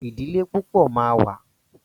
Ìdílé púpọ̀ ma wà.